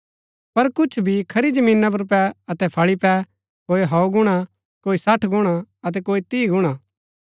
पर कुछ बी खरी जमीना पुर पै अतै फळी पै कोई सौ गुणा कोई सठ गुणा अतै कोई तीह गुणा